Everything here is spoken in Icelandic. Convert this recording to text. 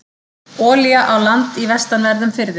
Olía á land í vestanverðum firðinum